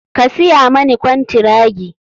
Ka siya mani kwantiragi.